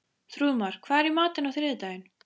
Þrúðmar, hvað er í matinn á þriðjudaginn?